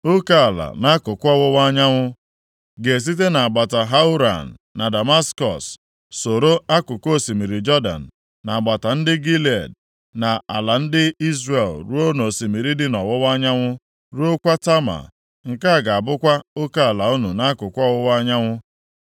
Oke ala nʼakụkụ ọwụwa anyanwụ ga-esite nʼagbata Hauran na Damaskọs soro akụkụ osimiri Jọdan, nʼagbata ndị Gilead na ala ndị Izrel ruo nʼosimiri dị nʼọwụwa anyanwụ, ruokwa Tama. Nke a ga-abụkwa oke ala unu nʼakụkụ ọwụwa anyanwụ.